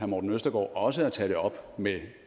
morten østergaard også at tage det op med